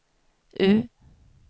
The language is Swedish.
U